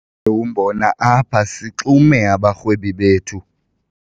umbona apha sixume abarhwebi bethu.